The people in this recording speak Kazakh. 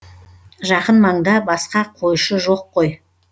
жақын маңда басқа қойшы жоқ қой